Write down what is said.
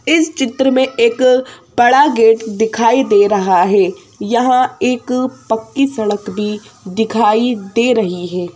इस चित्र में एक बड़ा गेट दिखाई दे रहा है यहाँ एक पक्की सड़क भी दिखाई दे रही है।